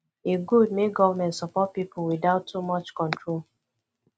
e good make government support pipo without too much control